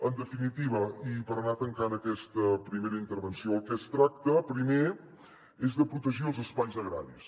en definitiva i per anar tancant aquesta primera intervenció del que es tracta primer és de protegir els espais agraris